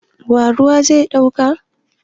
Wa ruwa zai duka?